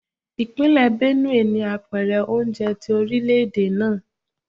Ipinle Benue ni apèrè oúnjẹ ti orilẹ-ede naa.